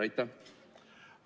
Aitäh!